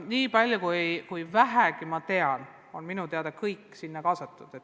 Nii palju kui mina tean, on sinna kõik sihtgrupid kaasatud.